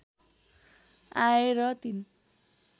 आए र ३